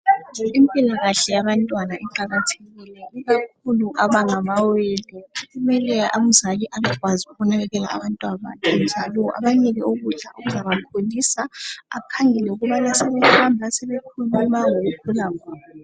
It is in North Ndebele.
Impilakahle yabantwana iqakathekile. Ikakhulu abangamawele kumele umzali abekwazi ukunakekela abantabakhe njalo abanike ukudla okuzabakhulisa .Akhangele ukubana sebehamba bayakhuluma ngokukhula kwabo.